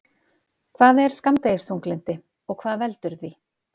Hvað er skammdegisþunglyndi og hvað veldur því?